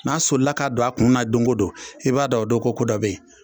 N'a solila k'a don a kunna don o don i b'a dɔn o don ko ko dɔ bɛyi.